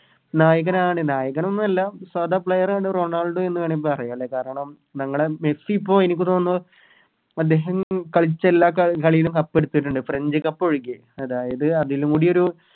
നായകനാണ് നായകനൊന്നു അല്ല സാദാ Player ആണ് റൊണാൾഡോ എന്ന് വേണേ പറയാ ലെ കാരണം ഞങ്ങളെ മെസ്സി ഇപ്പോം അദ്ദേഹം കളിച്ച എല്ലാ കളിയിലും കപ്പെടുത്തിട്ടുണ്ട് French cup ഒഴികെ അതായത് അതിലൂടെരു